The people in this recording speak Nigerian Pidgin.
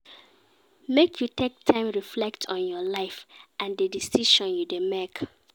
Make you take time reflect on your life and di decisions you dey make.